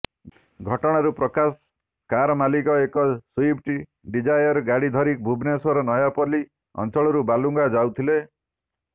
ଘଟଣାରୁ ପ୍ରକାଶ କାର ମାଲିକ ଏକ ସୁଇଫ୍ଟି ଡିଜାଏର ଗାଡି ଧରି ଭୁବନେଶ୍ୱର ନୟାପଲ୍ଲୀ ଅଂଚଳରୁ ବାଲୁଗାଁ ଯାଉଥିଲେ